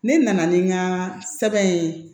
Ne nana ni n ka sɛbɛn ye